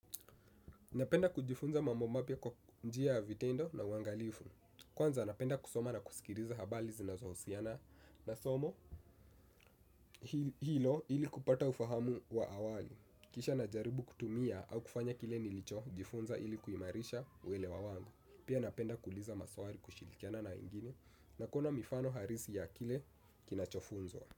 Napenda kujifunza mambo mapya kwa njia vitendo na uangalifu. Kwanza, napenda kusoma na kusikiliza habari zinazohosiana na somo. Hilo ili kupata ufahamu wa awali. Kisha najaribu kutumia au kufanya kile nilicho jifunza ili kuimarisha welewa wangu. Pia napenda kuuliza maswali kushilikiana na wengine, nakuona mifano halisi ya kile kinachofunzwa.